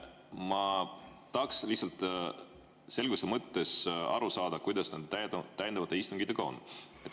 Ma tahaks lihtsalt selguse mõttes aru saada, kuidas nende täiendavate istungitega on.